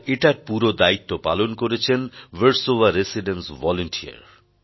আর এটার পুরো দায়িত্ব পালন করেছেন ভারসোভা রেসিডেন্সভলান্টির